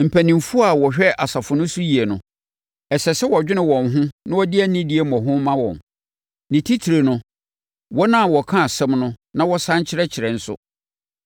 Mpanimfoɔ a wɔhwɛ asafo no so yie no, ɛsɛ sɛ wɔdwene wɔn ho na wɔde anidie mmɔho ma wɔn; ne titire no wɔn a wɔka asɛm no na wɔsane kyerɛkyerɛ nso.